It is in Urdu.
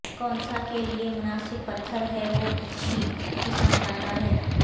کونسا کے لئے مناسب پتھر ہے اور اچھی قسمت لاتا ہے